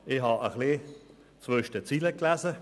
Ich habe ein bisschen zwischen den Zeilen gelesen: